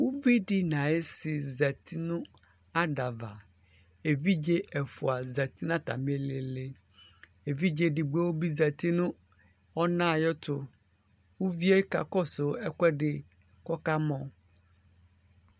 uvidi naisi yati nɑdava ɛvidze ɛfua zati natamïlili ɛvidze ɛdigbobi zati nu ɔnayetu uvie kakɔsu ɛkuedi kọkamo